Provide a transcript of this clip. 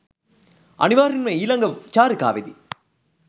අනිවාර්යෙන්ම ඊලග චාරිකාවෙදි